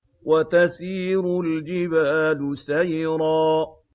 وَتَسِيرُ الْجِبَالُ سَيْرًا